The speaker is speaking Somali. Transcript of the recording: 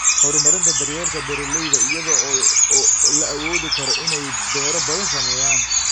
Horumarinta daryeelka beeralayda iyada oo la awoodi karo in ay beero badan sameeyaan.